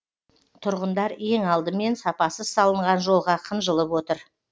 тұрғындар ең алдымен сапасыз салынған жолға қынжылып отыр